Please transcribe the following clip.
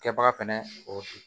Kɛbaga fɛnɛ o ye